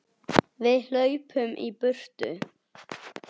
Við hlaupum í burtu.